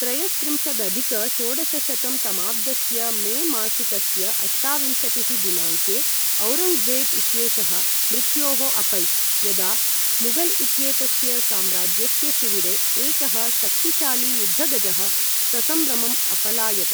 त्रयस्त्रिंशदधिक षोडशशतं तमाब्दस्य मे मासिकस्य अष्टाविंशतिः दिनाङ्के औरङ्ग्जेब् इत्येषः मृत्योः अपैत् यदा मुगल् इत्येतस्य साम्राज्यस्य शिविरे एकः शक्तिशाली युद्धगजः ससंभ्रमम् अपलायत्।